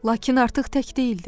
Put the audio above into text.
Lakin artıq tək deyildi.